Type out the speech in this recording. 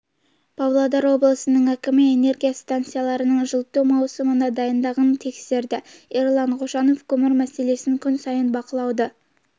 павлодар облысының әкімі энергия станцияларының жылыту маусымына дайындығын тексерді ерлан қошанов көмір мәселесін күн сайын бақылауды